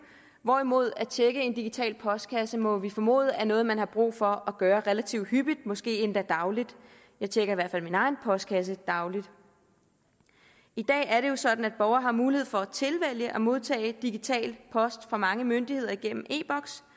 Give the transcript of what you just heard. hvorimod at tjekke en digital postkasse må vi formode er noget man har brug for at gøre relativt hyppigt måske endda dagligt jeg tjekker i hvert fald min egen postkasse dagligt i dag er det jo sådan at borgere har mulighed for at tilvælge at modtage digital post fra mange myndigheder igennem e